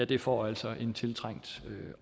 det får altså en tiltrængt